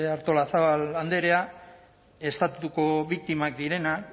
artolazabal andrea estatutuko biktimak direnak